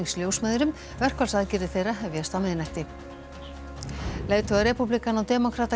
ljósmæðrum verkfallsaðgerðir þeirra hefjast á miðnætti leiðtogar repúblikana og demókrata